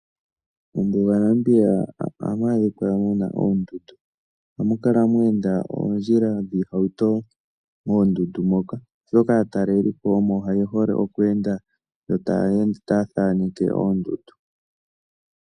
Mombuga yaNamibia ohamu adhika mu na oondundu. ohamu kala mwe enda oondjila dhiihauto moondundu moka, oshoka aatalelipo omo ye hole oku enda. Yo taya ende taya thaneke oondundu.